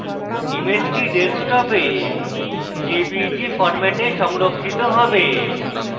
ইমেজটি ডেস্কটপে jpeg ফরম্যাটে সংরক্ষিত হবে